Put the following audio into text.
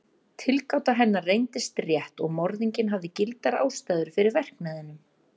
Tilgáta hennar reyndist rétt og morðinginn hafði gildar ástæður fyrir verknaðinum.